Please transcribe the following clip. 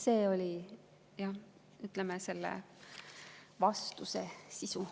See oli, ütleme, selle vastuse sisu.